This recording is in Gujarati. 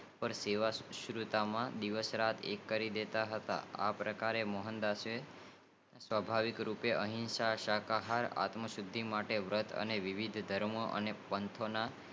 સેવા સાંસુકૃતિ માં દિવસ રાત એક કરી દેતા હતા આ પ્રકારે મોહનદાસસ સ્વાભવિક રીતે હિંસા શાકાહાર આબ સુધી માં વર્ત વિવિધ ધર્મો અને પંથો